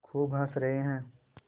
खूब हँस रहे हैं